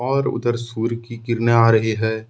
और उधर सूर्य की किरणे आ रही है।